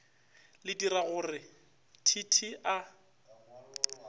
le diragogore t t a